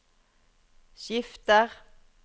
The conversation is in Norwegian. skifter